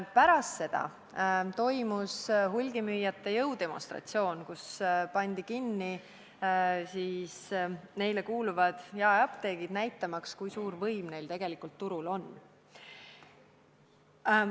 Pärast seda toimus hulgimüüjate jõudemonstratsioon: neile kuuluvad jaeapteegid pandi kinni, näitamaks, kui suur võim neil tegelikult turul on.